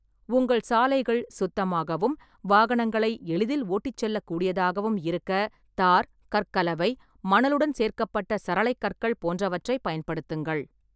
உங்கள் சாலைகள் சுத்தமாகவும் வாகனங்களை எளிதில் ஓட்டிச் செல்லக் கூடியதாகவும் இருக்க தார், கற்கலவை, மணலுடன் சேர்க்கப்பட்ட சரளைக் கற்கள் போன்றவற்றைப் பயன்படுத்துங்கள்.